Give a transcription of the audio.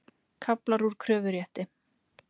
Kaflar úr kröfurétti.